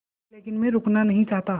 लेकिन मैं रुकना नहीं चाहता